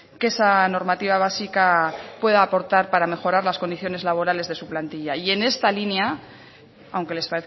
que esa normativa básica puede aportar para mejorar las condiciones laborales de su plantilla y en esta línea aunque les